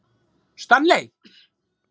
Stanley